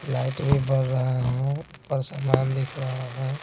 Light भी बढ़ रहा है ऊपर सामान दिख रहा है।